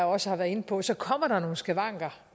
også har været inde på så kommer der nogle skavanker